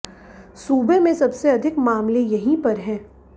सूबे में सबसे अधिक मामले यहीं पर हैं